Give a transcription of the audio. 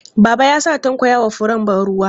Baba ya sa Tanko ya yi wa furen ban ruwa.